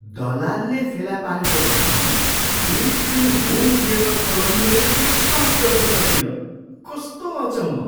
दलालले फेला पारेको घरमा बिल्ट इन होम थिएटर छ भनी मैले विश्वास गर्न सकिनँ। कस्तो अचम्म!